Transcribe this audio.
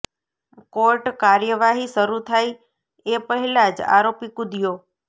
court કાર્યવાહી શરૂ થાય એ પહેલાં જ આરોપી કૂદયો